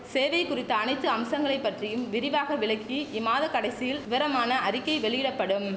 சேவை குறித்த அனைத்து அம்சங்களை பற்றியும் விரிவாக விளக்கி இம்மாத கடைசியில் விவரமான அறிக்கை வெளியிட படும்